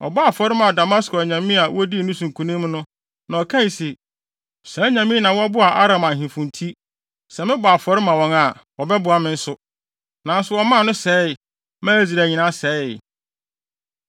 Ɔbɔɔ afɔre maa Damasko anyame a wodii ne so nkonim no, na ɔkae se, “Saa anyame yi na wɔboaa Aram ahemfo nti, sɛ mebɔ afɔre ma wɔn a, wɔbɛboa me nso.” Nanso wɔmaa no sɛee, maa Israel nyinaa sɛee.